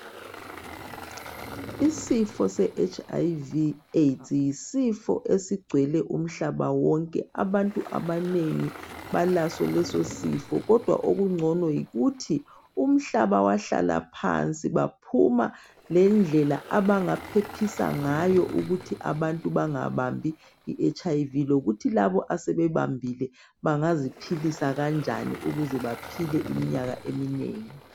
Isifo se Hiv Aids yisifo esigcwele umhlaba wonke. Abantu abanengi balaso lesisifo kodwa okungcono yikuthi umhlaba wahlala phansi baphuma lendlela abangaphephisa ngayo ukuthi abantu bangabambi iHiv lokuthi labo asebebambile bangaziphilisa kanjani ukuze baphile iminyaka eminengi.